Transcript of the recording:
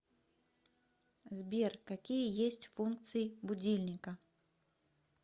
сбер какие есть функции будильника